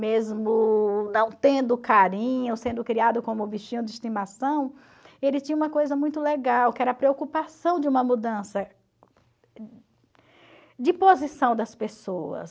mesmo não tendo carinho, sendo criado como um bichinho de estimação, ele tinha uma coisa muito legal, que era a preocupação de uma mudança de posição das pessoas.